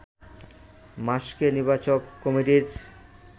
মার্শকে নির্বাচক কমিটির